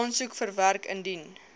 aansoek verwerk indien